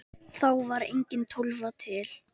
Þá var engin Tólfa til!